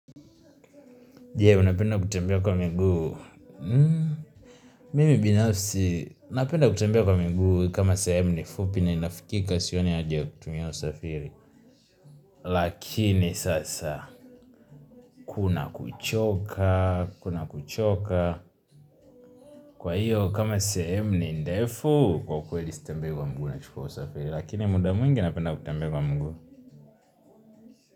Je, unapenda kutembea kwa muguu. Mimi binafsi, napenda kutembea kwa muguu kama sehemu ni fupi na inafikika sioni haja ya kutumia usafiri. Lakini sasa, kuna kuchoka, kuna kuchoka. Kwa hiyo, kama sahemu ni ndefu kwa ukweli sitembea kwa muguu na chukua usafiri. Lakini muda mwingi unapenda kutembea kwa muguu.